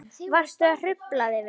Varstu að hrufla þig vinur?